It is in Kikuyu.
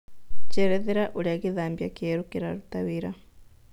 njerethera ũrĩa gĩthambĩa kĩerũ kĩrarũta wĩra